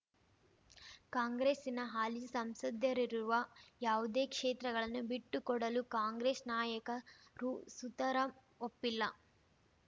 ಕಾಂಗ್ರೆಸ್ಸಿನ ಹಾಲಿ ಸಂಸದರಿರುವ ಯಾವುದೇ ಕ್ಷೇತ್ರಗಳನ್ನು ಬಿಟ್ಟುಕೊಡಲು ಕಾಂಗ್ರೆಸ್ ನಾಯಕರು ಸುತರಾಂ ಒಪ್ಪಿಲ್ಲ